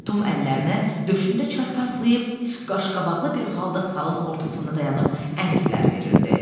Tom əllərini döşündə çarpazlayıb, qaşqabaqlı bir halda salın ortasında dayanıb əmrlər verirdi.